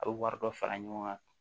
A bɛ wari dɔ fara ɲɔgɔn kan